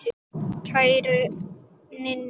Kæra Ninna.